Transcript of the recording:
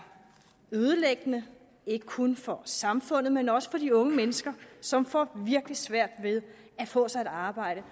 ødelæggende ikke kun for samfundet men også for de unge mennesker som får virkelig svært ved at få sig et arbejde